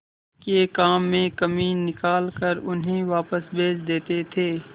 के काम में कमी निकाल कर उन्हें वापस भेज देते थे